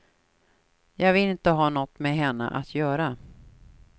Jag ville inte ha något med henne att göra.